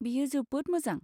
बेयो जोबोद मोजां।